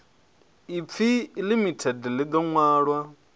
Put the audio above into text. ipfi limited ḽi ḓo ṅwalwa